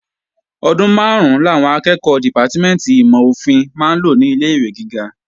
Ọdún máàrún làwọn akẹ́ẹ̀kọ́ dìpátímẹ̀ntì ìmọ̀-ofin máa ń lò ní ilé-ìwé gíga